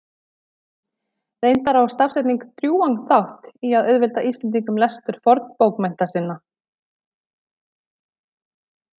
Reyndar á stafsetning drjúgan þátt í að auðvelda Íslendingum lestur fornbókmennta sinna.